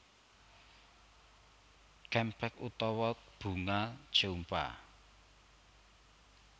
Champak utawa Bunga Jeumpa